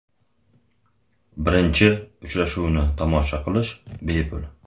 Birinchi uchrashuvni tomosha qilish bepul.